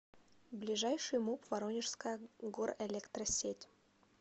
ближайший муп воронежская горэлектросеть